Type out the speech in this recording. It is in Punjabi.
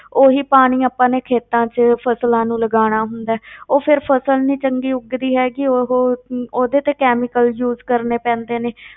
ਉਹੀ ਪਾਣੀ ਆਪਾਂ ਨੇ ਖੇਤਾਂ ਵਿੱਚ ਫਸਲਾਂ ਨੂੰ ਲਗਾਉਣਾ ਹੁੰਦਾ ਹੈ ਉਹ ਫਿਰ ਫਸਲ ਨੀ ਚੰਗੀ ਉੱਗਦੀ ਹੈਗੀ ਉਹ, ਉਹਦੇ ਤੇ chemical use ਕਰਨੇ ਪੈਂਦੇ ਨੇ,